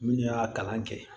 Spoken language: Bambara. Minnu y'a kalan kɛ